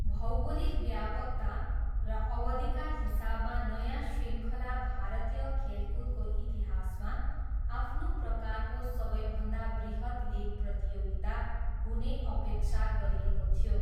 भौगोलिक व्यापकता र अवधिका हिसाबमा नयाँ शृङ्खला भारतीय खेलकुदको इतिहासमा आफ्नो प्रकारको सबैभन्दा बृहत् लिग प्रतियोगिता हुने अपेक्षा गरिएको थियो।